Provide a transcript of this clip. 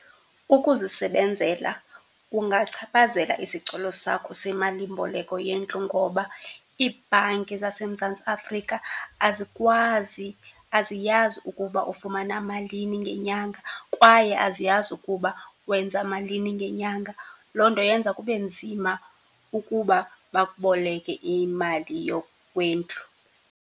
Ukuzisebenzela kungaphachazela isicelo sakho semalimboleko yendlu ngoba iibhanki zaseMzantsi Afrika azikwazi, aziyazi ukuba ufumana malini ngenyanga kwaye aziyazi ukuba wenza malini ngenyanga. Loo nto yenza kube nzima ukuba bakuboleke imali kwendlu.